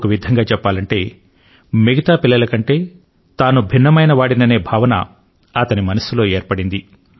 ఒక విధంగా చెప్పాలంటే మిగతా పిల్లల కంటే తాను భిన్నమైనవాడిననే భావన ఆయన మనస్సు లో ఏర్పడింది